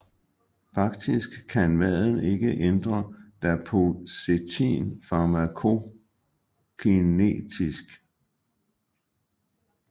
Faktisk kan maden ikke ændre dapoxetin farmakokinetisk